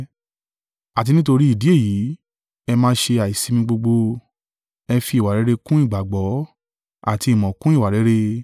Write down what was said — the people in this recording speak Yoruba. Àti nítorí ìdí èyí, ẹ máa ṣe àìsimi gbogbo, ẹ fi ìwà rere kún ìgbàgbọ́, àti ìmọ̀ kún ìwà rere;